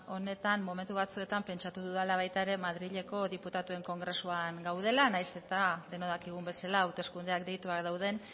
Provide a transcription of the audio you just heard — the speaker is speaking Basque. honetan momentu batzuetan pentsatu dudala baita ere madrileko diputatuen kongresukoan gaudela nahiz eta denok dakigun bezala hauteskundeak deituak dauden